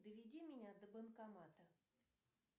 доведи меня до банкомата